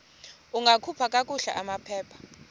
ungakhupha kakuhle amaphepha